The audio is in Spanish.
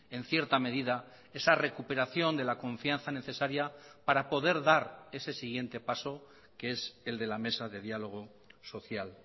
en cierta medida esa recuperación de la confianza necesaria para poder dar ese siguiente paso que es el de la mesa de diálogo social